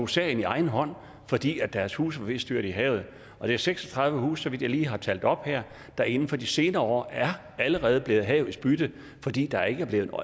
sagen i egen hånd fordi deres huse var ved at styrte i havet det er seks og tredive huse så vidt jeg lige har talt op her der inden for de senere år allerede er blevet havets bytte fordi der ikke er blevet